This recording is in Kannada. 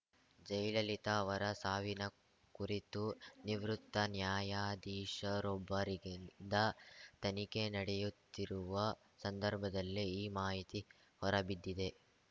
ಜಯಲಲಿತಾ ಅವರ ಸಾವಿನ ಕುರಿತು ನಿವೃತ್ತ ನ್ಯಾಯಾಧೀಶರೊಬ್ಬರಿಗಿಂದ ತನಿಖೆ ನಡೆಯುತ್ತಿರುವ ಸಂದರ್ಭದಲ್ಲೇ ಈ ಮಾಹಿತಿ ಹೊರಬಿದ್ದಿದೆ